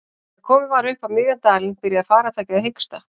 Þegar komið var upp á miðjan dalinn byrjaði farartækið að hiksta.